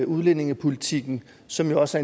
udlændingepolitikken som jo også